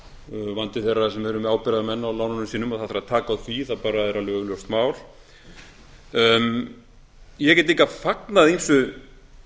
vandi þeirra sem eru með ábyrgðarmenn á lánunum sínum og það þarf að taka á því það bara er alveg augljóst mál ég get líka fagnað ýmsu